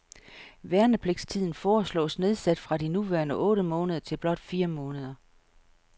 Værnepligtstiden foreslås nedsat fra de nuværende otte måneder til blot fire måneder.